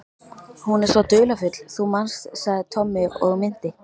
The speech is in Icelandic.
Hún er svo dularfull, þú manst sagði Tommi og minnti